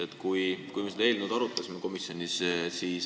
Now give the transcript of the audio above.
Me arutasime seda eelnõu komisjonis.